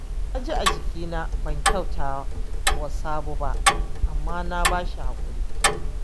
Na ji a jikina ban kyauta wa Sabo ba, amma na ba shi haƙuri